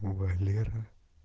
валера